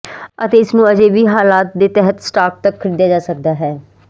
ਅਤੇ ਇਸ ਨੂੰ ਅਜੇ ਵੀ ਹਾਲਾਤ ਦੇ ਤਹਿਤ ਸਟਾਕ ਤੱਕ ਖਰੀਦਿਆ ਜਾ ਸਕਦਾ ਹੈ